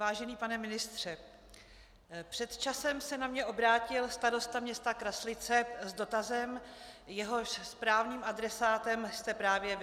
Vážený pane ministře, před časem se na mě obrátil starosta města Kraslice s dotazem, jehož správným adresátem jste právě vy.